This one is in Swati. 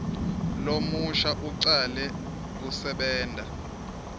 lomusha ucale kusebenta